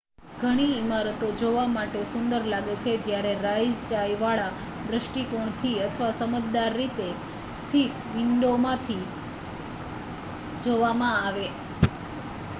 ઘણી ઇમારતો જોવા માટે સુંદર લાગે છે જ્યારે riseંચાઇવાળા દૃષ્ટિકોણથી અથવા સમજદાર રીતે સ્થિત વિંડોમાંથી જોવામાં આવે